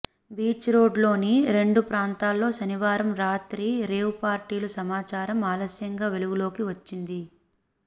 beach రోడ్డులోని రెండు ప్రాంతాల్లో శనివారం రాత్రి రేవ్ పార్టీల సమాచారం ఆలస్యంగా వెలుగులోకి వచ్చింది